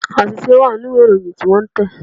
Àṣìṣe wà nínú ìwé Ìròyìn tí wọ́n tẹ̀